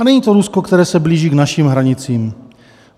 A není to Rusko, které se blíží k našim hranicím.